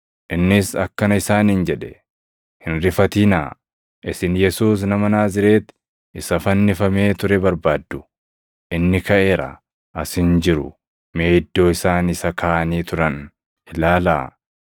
Innis akkana isaaniin jedhe; “Hin rifatinaa! Isin Yesuus Nama Naazreeti isa fannifamee ture barbaaddu. Inni kaʼeera! As hin jiru. Mee iddoo isaan isa kaaʼanii turan ilaalaa.